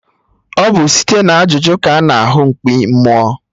Ọ bụ site na ajụjụ ka a na ahụ mkpi mmụọ